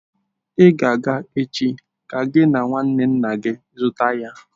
I ga-aga echi ka gị na nwanne nna gị zụta ya!